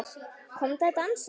Komdu að dansa